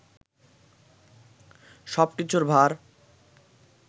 সবকিছুর ভার